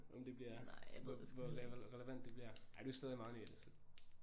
Om det bliver hvor hvor relevant det bliver ej du er stadig meget ny i det så